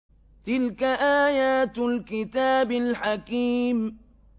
تِلْكَ آيَاتُ الْكِتَابِ الْحَكِيمِ